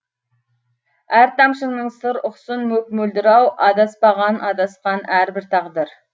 әр тамшыңның сыр ұқсын мөп мөлдір ау адаспаған адасқан әрбір тағдыр